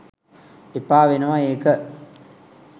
එපා වෙනවා ඒක